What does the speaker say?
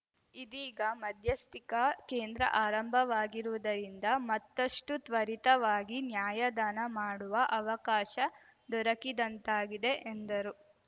ಇದೀಗ ಮಧ್ಯಸ್ಥಿಕಾ ಕೇಂದ್ರ ಆರಂಭವಾಗಿರುವುದರಿಂದ ಮತ್ತಷ್ಟುತ್ವರಿತವಾಗಿ ನ್ಯಾಯದಾನ ಮಾಡುವ ಅವಕಾಶ ದೊರಕಿದಂತಾಗಿದೆ ಎಂದರು